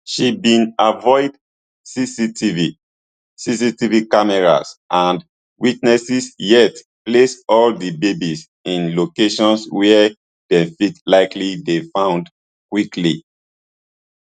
she bin avoid cctv cctv cameras and witnesses yet place all di babies in locations wia dey fit likely dey found quickly